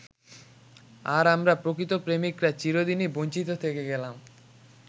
আর আমরা প্রকৃত প্রেমিকরা চিরদিনই বঞ্চিত থেকে গেলাম।